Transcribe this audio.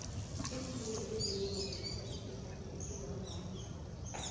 imfundo ezinengi zithakha isikhathi esingangani